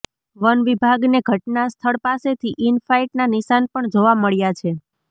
વનવિભાગને ઘટના સ્થળ પાસેથી ઇન ફાઈટના નિશાન પણ જોવા મળ્યા છે